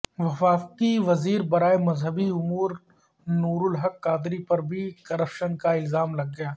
وفاقی وزیر برائے مذہبی امور نورالحق قادری پر بھی کرپشن کا الزام لگ گیا